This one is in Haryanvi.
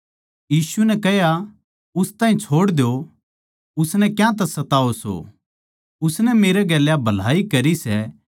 यीशु नै कह्या उस ताहीं छोड़ द्यो उसनै क्यांतै सताओ सो उसनै मेरै गेल्या भलाई करी सै